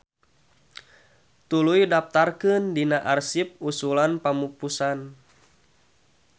Tuluy daptarkeun dina arsip usulan pamupusan.